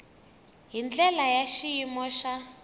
hi ndlela ya xiyimo xa